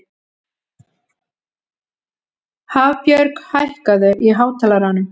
Hafbjörg, hækkaðu í hátalaranum.